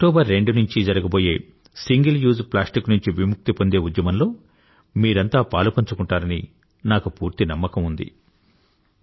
October రెండు నుంచీ జరగబోయే సింగిల్ యూజ్ ప్లాస్టిక్ నుంచి విముక్తి పొందే ఉద్యమంలో మీరంతా పాలుపంచుకుంటారని నాకు పూర్తి నమ్మకం ఉంది